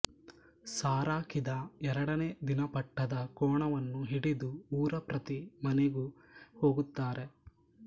ಸಾರಾಕಿದ ಎರಡನೇ ದಿನ ಪಟ್ಟದ ಕೋಣವನ್ನು ಹಿಡಿದು ಊರ ಪ್ರತಿ ಮನೆಗೂ ಹೋಗುತ್ತಾರೆ